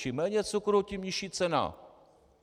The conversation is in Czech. Čím méně cukru, tím nižší cena.